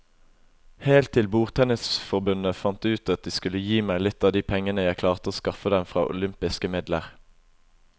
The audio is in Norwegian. Helt til bordtennisforbundet fant ut at de skulle gi meg litt av de pengene jeg klarte å skaffe dem fra olympiske midler.